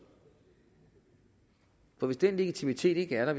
for hvis den legitimitet ikke er der